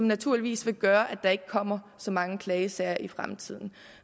naturligvis gøre at der ikke kommer så mange klagesager i fremtiden